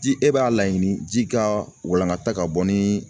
Ji e b'a laɲini ji ka walankata ka bɔ ni